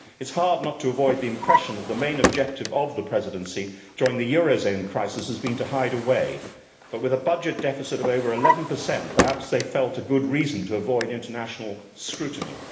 It is hard not to avoid the impression that the main objective of the Presidency during the eurozone crisis has been to hide away, but with a budget deficit of over 11, perhaps they felt good reason to avoid international scrutiny.